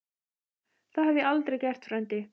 Það hef ég aldrei gert, frændi